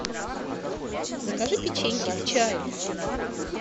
закажи печеньки к чаю